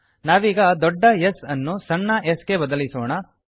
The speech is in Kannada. ನಾವೀಗ ದೊಡ್ಡ S ಅನ್ನು ಸಣ್ಣ s ಗೆ ಬದಲಿಸೋಣ